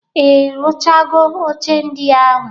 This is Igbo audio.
I rụchago oche ndị ahụ?